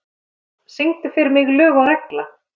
Hafdís, syngdu fyrir mig „Lög og regla“.